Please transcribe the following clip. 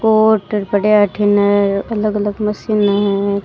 Coat पड़या है अठीने अलग अलग मशीने है।